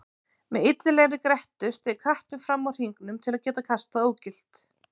Með illilegri grettu steig kappinn fram úr hringnum til að gera kastið ógilt.